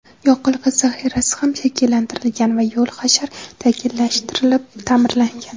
yoqilg‘i zaxirasi ham shakllantirilgan va yo‘l hashar tashkillashtirilib ta’mirlangan.